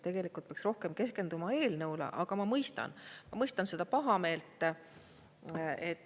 Tegelikult peaks rohkem keskenduma eelnõule, aga ma mõistan, ma mõistan seda pahameelt.